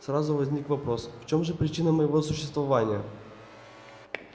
сразу возник вопрос в чём же причина моего существования